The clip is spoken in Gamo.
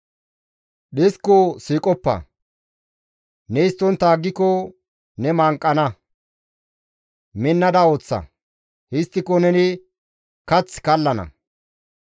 Dhisko siiqoppa! Ne histtontta aggiko ne manqana. Minnada ooththa; histtiko neni kath kallana.